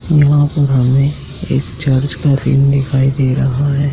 यहां हमें एक चर्च का सिन दिखाई दे रहा है।